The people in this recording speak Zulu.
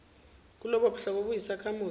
kulobo buhlobo eyisakhamuzi